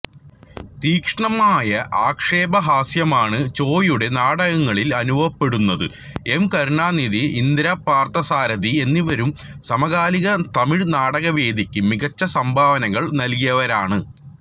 തീക്ഷ്ണമായ ആക്ഷേപഹാസ്യമാണ് ചോയുടെ നാടകങ്ങളിൽ അനുഭവപ്പെടുന്നത് എം കരുണാനിധി ഇന്ദിരാപാർഥസാരഥി എന്നിവരും സമകാലിക തമിഴ് നാടകവേദിക്ക് മികച്ച സംഭാവനകൾ നല്കിയവരാണ്